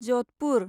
Jodhpur